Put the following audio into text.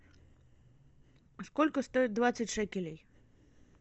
сколько стоит двадцать шекелей